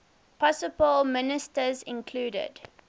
possible ministers included